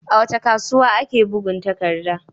A wace kasuwa ake bugun takadda?